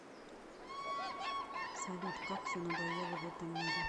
салют как все надоело в этом мире